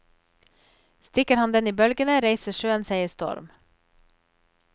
Stikker han den i bølgene, reiser sjøen seg i storm.